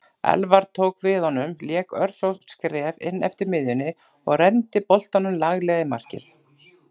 Elfar tók við honum lék örfá skref inneftir miðjunni og renndi boltanum laglega í markið.